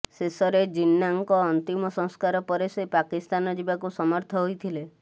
ଶେଷରେ ଜିନ୍ନାଙ୍କ ଅନ୍ତିମ ସଂସ୍କାର ପରେ ସେ ପାକିସ୍ତାନ ଯିବାକୁ ସମର୍ଥ ହୋଇଥିଲେ